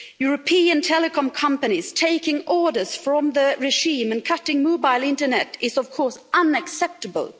European telecom companies taking orders from the regime and cutting mobile internet is of course unacceptable.